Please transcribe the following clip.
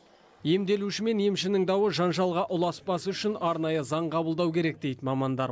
емделуші мен емшінің дауы жанжалға ұласпау үшін арнайы заң қабылдау керек дейді мамандар